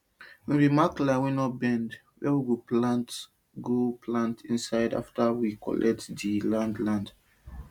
we bin mark line wey no bend wey we go plant inside after we clear di land land